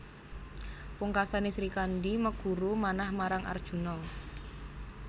Pungkasané Srikandhi meguru manah marang Arjuna